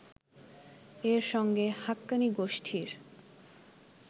-এর সঙ্গে হাক্কানি গোষ্ঠীর